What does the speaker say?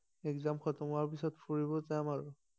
exam খতম হোৱাৰ পিছত ফুৰিব যাম আৰু